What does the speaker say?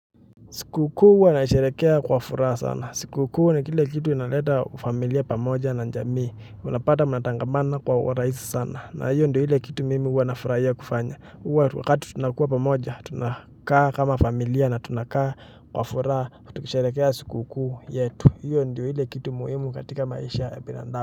Sikukuu huwa nasherehekea kwa furaha sana. Sikukuu ni kile kitu inaleta familia pamoja na jamii. Unapata mnatangamana kwa urahisi sana. Na hiyo ndio ile kitu mimi huwa nafurahia kufanya. Hiyo wakati tunakuwa pamoja tunakaa kama familia na tunakaa kwa furaha. Tukisherehekea sikukuu yetu. Hiyo ndo ile kitu muhimu katika maisha ya binadamu.